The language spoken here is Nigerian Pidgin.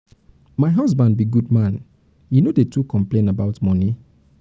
my husband be good man he no dey too complain about money.